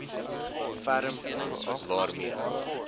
ferm hand waarmee